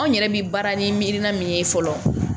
Anw yɛrɛ bɛ baara ni milina min ye fɔlɔ